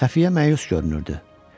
Xəfiyə məyus görünürdü.